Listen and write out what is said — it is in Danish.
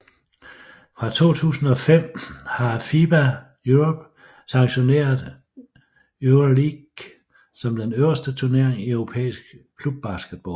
Fra 2005 har FIBA Europe sanktioneret Euroleague som den øverste turnering i europæisk klubbasketball